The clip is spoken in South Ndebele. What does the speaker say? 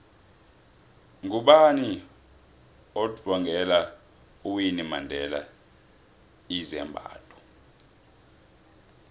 ngubani othvngela uwinnie mandela izambatho